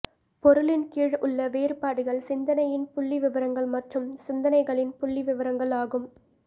பொருளின்கீழ் உள்ள வேறுபாடுகள் சிந்தனையின் புள்ளிவிவரங்கள் மற்றும் சிந்தனைகளின் புள்ளிவிவரங்கள் ஆகும்